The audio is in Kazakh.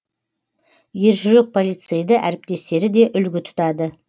ержүрек полицейді әріптестері де үлгі тұтады